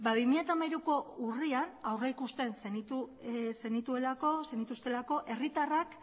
ba bi mila hamairuko urrian aurrikusten zenituztelako herritarrak